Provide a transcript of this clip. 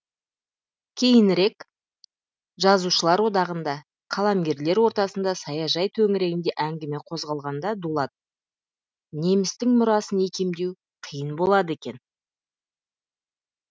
кейінірек жазушылар одағында қаламгерлер ортасында саяжай төңірегінде әңгіме қозғалғанда дулат немістің мұрасын икемдеу қиын болады екен